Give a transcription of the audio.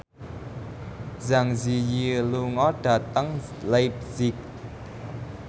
Zang Zi Yi lunga dhateng leipzig